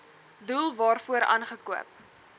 doel waarvoor aangekoop